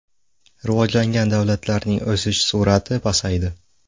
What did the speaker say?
Rivojlangan davlatlarning o‘sish sur’ati pasaydi.